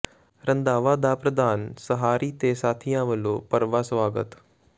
ਰੰਧਾਵਾ ਦਾ ਪ੍ਰਧਾਨ ਸਹਾਰੀ ਤੇ ਸਾਥੀਆਂ ਵਲੋਂ ਭਰਵਾਂ ਸਵਾਗਤ